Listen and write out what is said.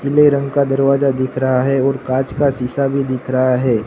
पीले रंग का दरवाजा दिख रहा है और कांच का सीसा भी दिख रहा है।